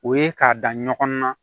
O ye k'a da ɲɔgɔn na